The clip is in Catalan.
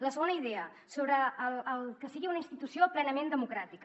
la segona idea sobre el que sigui una institució plenament democràtica